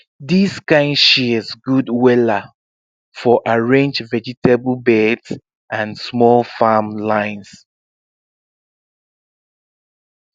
this kind shears good wella for arrange vegetable beds and small farm lines